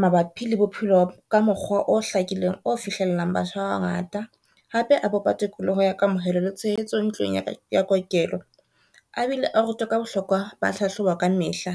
mabapi le bophelo ka mokgwa o hlakileng, o fihlellang batho ba bangata hape a bopa tikoloho ya kamohelo le tshehetso ntlong ya kokelo, a bile o ruta ka bohlokwa ba hlahloba ka mehla.